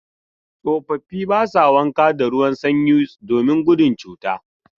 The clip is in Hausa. Tsofafi ba sa wanka da ruwan sanyi domin gudun cuta..